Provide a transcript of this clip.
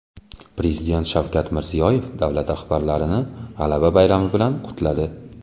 Prezident Shavkat Mirziyoyev davlat rahbarlarini G‘alaba bayrami bilan qutladi.